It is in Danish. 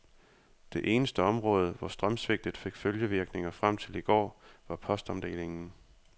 Det eneste område, hvor strømsvigtet fik følgevirkninger frem til i går, var postomdelingen.